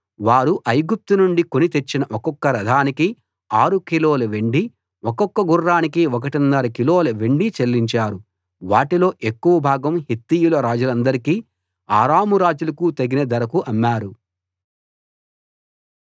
వారు ఐగుప్తు నుండి కొని తెచ్చిన ఒక్కొక్క రథానికి 6 కిలోల వెండి ఒక్కొక్క గుర్రానికి ఒకటిన్నర కిలోల వెండి చెల్లించారు వాటిలో ఎక్కువ భాగం హిత్తీయుల రాజులందరికీ అరాము రాజులకూ తగిన ధరకు అమ్మారు